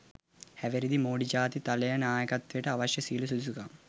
හැවිරිදි මෝඩි ජාතික තලයේ නායකත්වයට අවශ්‍ය සියලූම සුදුසුකම්